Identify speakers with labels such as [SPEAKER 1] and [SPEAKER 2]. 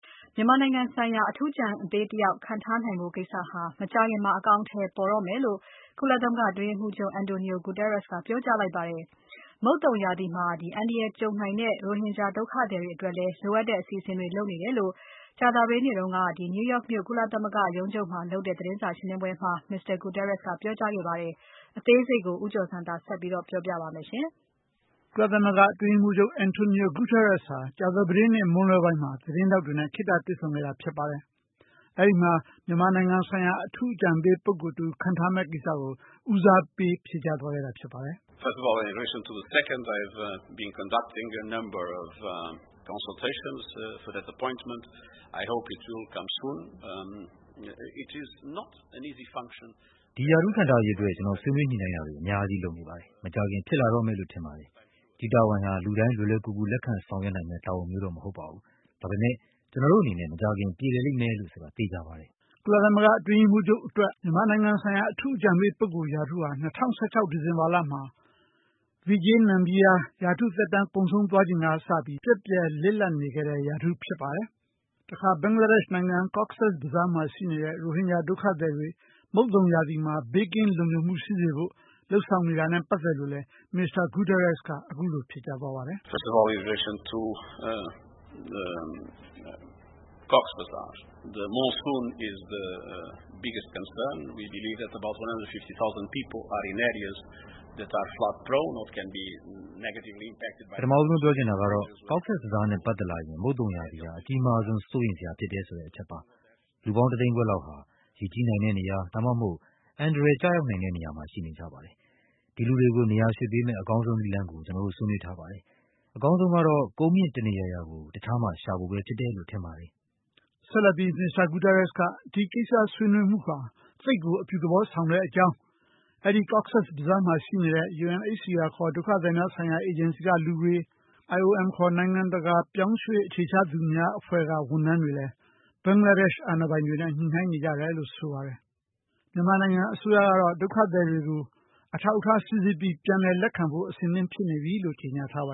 [SPEAKER 1] မြန်မာနိုင်ငံဆိုင်ရာ အထူးအကြံပေးတဦးခန့်ထားဖို့ ကိစ္စဟာ မကြာခင်အကောင်အထည်ပေါ်တော့မယ်လို့ ကုလသမဂ္ဂ အတွင်းရေးမှူးချုပ်က ပြောကြားလိုက်ပါတယ်။ မုတ်သုန်ရာသီမှာ အန္တရာယ်ကြုံနိုင်တဲ့ ရိုဟင်ဂျာဒုက္ခသည်တွေအတွက်လဲ လိုအပ်တဲ့အစီအစဉ်တွေလုပ်နေတယ်လို့ဆိုပါတယ်။ အသေးစိတ်ကို ဦးကျော်ဇံသာက ပြောပြပါ့လိမ့်မယ်
[SPEAKER 2] ။ ကုလသမဂ္ဂအတွင်းရေးမှူးချုပ် António Guterres ဟာ ကြာသပတေးနေ့ မွန်းလွဲပိုင်းမှာ သတင်းထောက်တွေနဲ့ ခေတ္တတွေ့ဆုံခဲ့တာပါ။ အဲဒီမှာ မြန်မာနိုင်ငံဆိုင်ရာ အထူးအကြံပေးပုဂ္ဂိုလ် တဦးခန့်ထားမယ့်ကိစ္စကို ဦးစားပေးဖြေကြားသွားတာဖြစ်ပါတယ်။
[SPEAKER 3] "
[SPEAKER 4] ဒီရာထူးခန့်ထားရေး အတွက် ကျနော် ဆွေးနွေးညှိနှိင်းမှုတွေ အများကြီးလုပ်နေပါတယ်။ မကြာခင်ဖြစ်လာတော့မယ်လို့ ထင်ပါတယ်။ ဒီတာဝန်ဟာ လူတိုင်း လွယ်လွယ်ကူ လက်ခံဆောင်ရွက်နိုင်မယ့် တာဝန်မျိုးတော့ မဟုတ်ပါဘူး။ ဒါပေမယ့် ကျနော်တို့ အနေနဲ့ မကြာခင်ပြေလည်လိမ့်မယ်လို့ ဆိုတာသေချာပါတယ်
[SPEAKER 2] ။" ကုလသမဂ္ဂ အတွင်းရေးမှူးချုပ် အတွက် မြန်မာနိုင်ငံဆိုင်ရာအထူးအကြံပေး ရာထူးဟာ ၂၀၁၆ ဒီဇင်ဘာမှာ Vijay K. Nambiar ရာထူးသက်တမ်းကုန်ဆုံးချိန်ကစပြီး ပျက်ပြယ်နေခဲ့တဲ့ ရာထူးဖြစ်ပါတယ်။ ဘင်္ဂလားဒေရှ့် Cox’s Bazar မှာရှိနေတဲ့ ရိုဟင်ဂျာဒုက္ခသည်တွေ မုတ်သုန်ရာသီမှာ ဘေးကင်းလုံခြုံမှု ရှိစေဖို့ လုပ်ဆောင်နေတာနဲ့ ပတ်သက်လို့လဲ Mr Guterres က အခုလိုဖြေကြားသွားပါတယ်။ "
[SPEAKER 3] ပထမဦးဆုံးပြောချင်တာကတော့ Cox’s Bazar နဲ့ပတ
[SPEAKER 4] ်သက်လာရင် မုတ်သုန်ရာသီဟာ အကြီးမားဆုံး စိုးရိမ်စရာဖြစ်တယ် ဆိုတဲ့အချက်ပါ။ လူပေါင်း ၂ သိန်းခွဲလောက်ဟာ ရေကြီးနိုင်တဲ့နေရာ ဒါမှမဟုတ် အန္တရာယ်ကျရောက်နိုင်တဲ့နေရာ မှာ ရှိနေကြပါတယ်။ ဒီလူတွေကို နေရာရွှေ့ပေးမယ့် အကောင်းဆုံးနည်းလမ်းကို ကျနော်တို့ ဆွေးနွေးထားပါတယ်။ အကောင်းဆုံးကတော့ ကုန်းမြင့်တနေရာရာ ကို တခြားမှာရှာဖို့ ပဲဖြစ်တယ်လို့ထင်ပါတယ်။" ဆက်လက်ပြီး Mr Guterres က ဒီကိစ္စဆွေးနွေးမှုဟာ သိပ်ကို အပြုသဘောဆ
[SPEAKER 2] ောင်တဲ့ အကြောင်း၊ အဲဒီ Coz’s Bazar မှာရှိနေတဲ့ UNHCR ခေါ် ဒုက္ခသည်များဆိုင်ရာအေဂျင်စီကလူတွေ၊ IOM ခေါ် နိုင်ငံတကာရွှေ့ပြောင်းနေထိုင်သူများအဖွဲ့ က ဝန်ထမ်းတွေ ဟာလဲ Bangladesh အာဏာပိုင်တွေနဲ့ ညှိနှိုင်းနေကြတယ်လို့ဆိုပါတယ်။ မြန်မာနိုင်ငံ အစ
[SPEAKER 4] ိုးရကတော့ ဒုက္ခသည်တွေကို အထောက်အထားစိစစ်ပြီး ပြန်လည်လက်ခံဖို့ အဆင်သင့်ဖြစ်နေပြီလို့ ကြေညာထားပါ